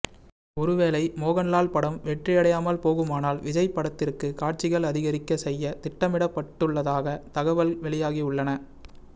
ஒருவேளை மோகன் லால் படம் வெற்றியடையாமால் போகுமானால் விஜய் படத்திற்கு காட்சிகள் அதிகரிக்க செய்ய திட்டமிடப்பட்டுள்ளதாக தகவல் வெளியாகியுள்ளன